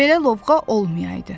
Belə lovğa olmayaydı.